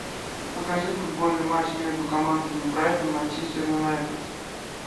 покажи футбольный матч между командами брайтон манчестер юнайтед